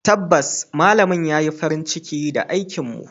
Tabbas malamin ya yi farin ciki da aikinmu.